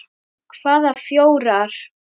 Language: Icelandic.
Hvaða fjórar?